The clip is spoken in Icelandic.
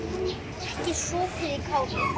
Ekki sopið í kálið.